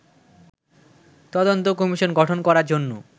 তদন্ত কমিশন গঠন করার জন্য